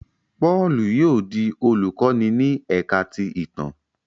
Paulu yóò di olukọni ní ẹka ti ìtàn